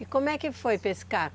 E como é que foi pescar?